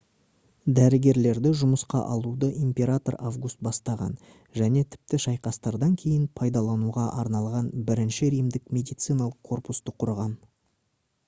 дәрігерлерді жұмысқа алуды император август бастаған және тіпті шайқастардан кейін пайдалануға арналған бірінші римдік медициналық корпусты құрған